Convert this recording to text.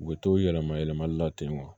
U bɛ to yɛlɛma yɛlɛmali la ten